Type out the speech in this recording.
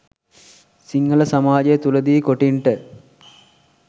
සිංහල සමාජය තුළ දී කොටින්ට